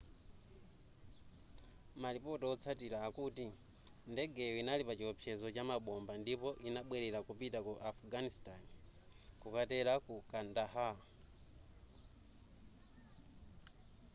malipoti otsatira akuti ndegeyo inali pachiwopsezo cha mabomba ndipo inabwelera kupita ku afghanistan kutera ku kandahar